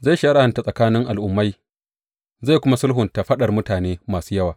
Zai shari’anta tsakanin al’ummai zai kuma sulhunta faɗar mutane masu yawa.